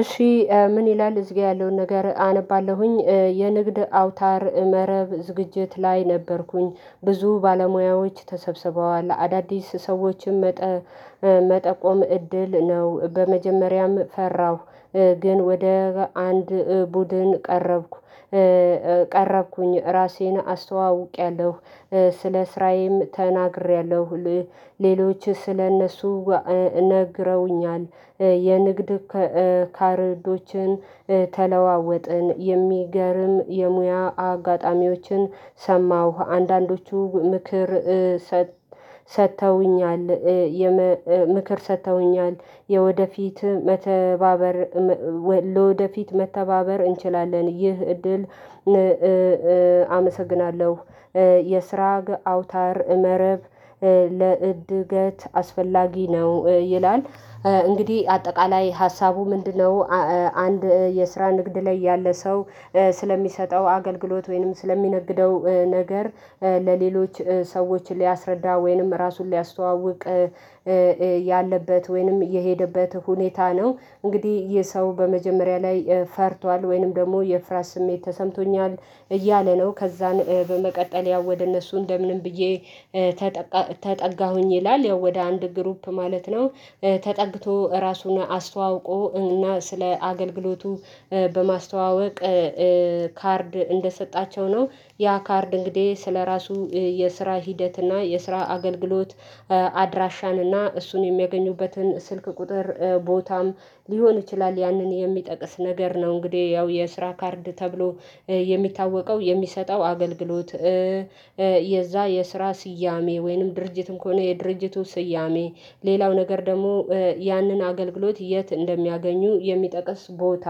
እሺ ምን? ይላል እዚህ ጋር ያለውን ነገር አነባለሁኝ የንግድ አውታር መረብ ዝግጅት ላይ ነበርኩኝ ብዙ ባለሙያዎች ተሰብስበዋል አዳዲስ ሰዎችም መጠቆም እድል ነው በመጀመሪያም ፈራሁ። ግን ወደ አንድ ቡድን ቀረብኩ ቀረብኩኝ ራሴን አስተዋውቄያለሁ ስለ ስራዬም ተናግሬያለሁ። ሌሎች ስለእነሱ ነግረውኛል የንግድ ካርዶችን ተለዋወጥን የሚገርም የሙያ አጋጣሚዎችን ሰማሁ አንዳንዶቹ ምክር ሰጥተውኛል። ምክር ሰጥተውኛል የወደፊት መተባበር ለወደፊት መተባበር እንችላለን ይህ እድል አመሰግናለሁ። የስራግ አውታር መረብ ለእድገት አስፈላጊ ነው ይላል። እንግዲህ አጠቃላይ ሀሳቡ ምንድነው? አንድ የስራ ንግድ ላይ ያለ ሰው ስለሚሰጠው አገልግሎት ወይንም ስለሚነግደው ነገር ለሌሎች ሰዎች ሊያስረዳ ወይንም ራሱን ሊያስተዋውቅ ያለበት ወይንም የሄደበት ሁኔታ ነው። እንግዲህ ይህ ሰው በመጀመሪያ ላይ ፈርቷል ወይንም ደግሞ የፍርሃት ስሜት ተሰምቶኛል እያለ ነው ከዛን በመቀጠል ያው ወደ እነሱ እንደምንም ብዬ ተጠጋሁኝ ይላል ያው ወደ አንድ ግሩፕ ማለት ነው። ተጠግቶ ራሱን አስተዋውቆ እና ስለ አገልግሎቱ በማስተዋወቅ ካርድ እንደሰጣቸው ነው ያ ካርድ እንግዲህ ስለራሱ የስራ ሂደት እና የስራ አገልግሎት አድራሻን እና እሱን የሚያገኙበትን ስልክ ቁጥር ቦታም ሊሆን ይችላል ያንን የሚጠቅስ ነገር ነው። እንግዲህ ያው የስራ ካርድ ተብሎ የሚታወቀው የሚሰጠው አገልግሎት የዛ የስራ ስያሜ ወይንም ድርጅትም ከሆነ የድርጅቱ ስያሜ ሌላው ነገር ደግሞ ያንን አገልግሎት የት እንደሚያገኙ የሚጠቅስ ቦታ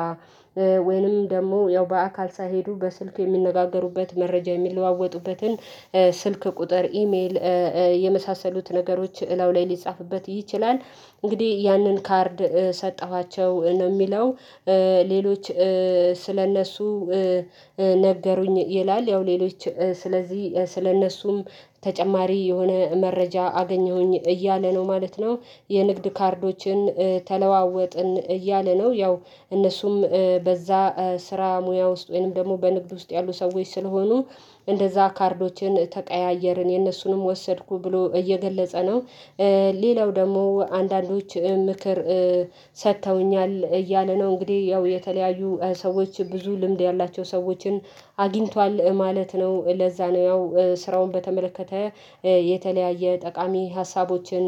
ወይንም ደግሞ ያው በአካል ሳይሄዱ በስልክ የሚነጋገሩበት መረጃ የሚለዋወጡበትን ስልክ ቁጥር ኢሜል የመሳሰሉት ነገሮች እላው ላይ ሊጻፍበት ይችላል። እንግዲህ ያንን ካርድ ሰጠኋቸው ነው የሚለው ሌሎች ስለእነሱ ነገሩኝ ይላል ያው ሌሎች ስለዚህ ስለእነሱም ተጨማሪ የሆነ መረጃ አገኘሁኝ እያለ ነው ማለት ነው። የንግድ ካርዶችን ተለዋወጥን እያለ ነው ያው እነሱም በዛ ስራ ሙያ ውስጥ ወይንም ደግሞ በንግድ ውስጥ ያሉ ሰዎች ስለሆኑ እንደዛ ካርዶችን ተቀያየርን የነሱንም ወሰድኩ ብሎ እየገለጸ ነው። ሌላው ደግሞ አንዳንዶች ምክር ሰጥተውኛል እያለ ነው እንግዲህ ያው የተለያዩ ሰዎች ብዙ ልምድ ያላቸው ሰዎችን አግኝቷል ማለት ነው ለዛ ነው ያው ስራውን በተመለከተ የተለያየ ጠቃሚ ሀሳቦችን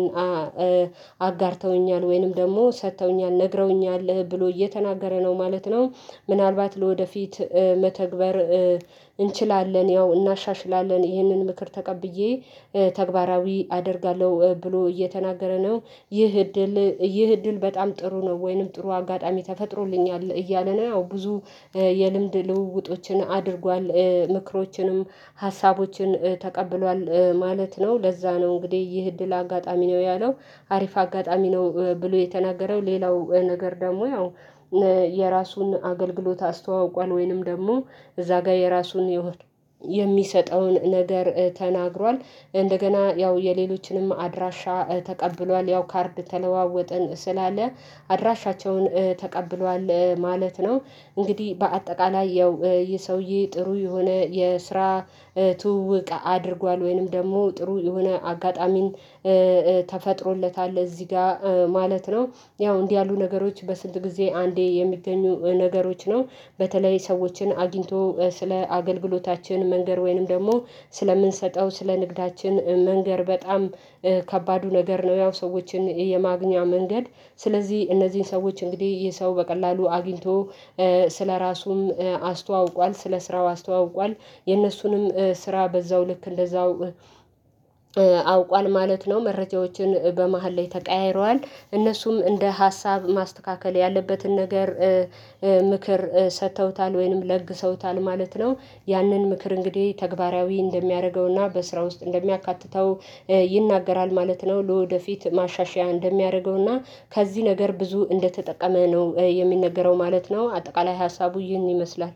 አጋርተውኛል ወይንም ደግሞ ሰጥተውኛል ነግረውኛል ብሎ እየተናገረ ነው ማለት ነው። ምናልባት ለወደፊት መተግበር እንችላለን ያው እናሻሽላለን ይህንን ምክር ተቀብዬ ተግባራዊ አደርጋለሁ ብሎ እየተናገረ ነው። ይህ እድል ይህ እድል በጣም ጥሩ ነው ወይንም ጥሩ አጋጣሚ ተፈጥሮልኛል እያለ ነው ያው ብዙ የልምድ ልውውጦችን አድርጓል ምክሮችንም ሀሳቦችን ተቀብሏል ማለት ነው ለዛ ነው እንግዲህ ይህ እድል አጋጣሚ ነው። ያለው አሪፍ አጋጣሚ ነው ብሎ የተናገረው ሌላው ነገር ደግሞ ያው የራሱን አገልግሎት አስተዋውቋል ወይንም ደግሞ እዛ ጋር የራሱን የሚሰጠውን ነገር ተናግሯል እንደገና ያው የሌሎችንም አድራሻ ተቀብሏል ያው ካርድ ተለዋወጥን ስላለ አድራሻቸውን ተቀብሏል ማለት ነው። እንግዲህ በአጠቃላይ ያው ይህ ሰውዬ ጥሩ የሆነ የስራ ትውውቅ አድርጓል ወይንም ደግሞ ጥሩ የሆነ አጋጣሚን ተፈጥሮለታል እዚህ ጋር ማለት ነው። ያው እንዲህ ያሉ ነገሮች በስንት ጊዜ አንዴ የሚገኙ ነገሮች ነው በተለይ ሰዎችን አግኝቶ ስለ አገልግሎታችን መንገር ወይንም ደግሞ ስለምንሰጠው ስለ ንግዳችን መንገር በጣም ከባዱ ነገር ነው ያው ሰዎችን የማግኛ መንገድ። ስለዚህ እነዚህን ሰዎች እንግዲህ ይህ ሰው በቀላሉ አግኝቶ ስለራሱም አስተዋውቋል ስለ ስራው አስተዋውቋል የነሱንም ስራ በዛው ልክ እንደዛው አውቋል ማለት ነው መረጃዎችን በመሃል ላይ ተቀያይረዋል እነሱም እንደ ሀሳብ ማስተካከል ያለበትን ነገር ምክር ሰጥተውታል ወይንም ለግሰውታል ማለት ነው ያንን ምክር እንግዲህ ተግባራዊ እንደሚያደርገውና በስራ ውስጥ እንደሚያካትተው ይናገራል ማለት ነው ለወደፊት ማሻሻያ እንደሚያደርገውና ከዚህ ነገር ብዙ እንደተጠቀመ ነው የሚነገረው ማለት ነው። አጠቃላይ ሀሳቡ ይህን ይመስላል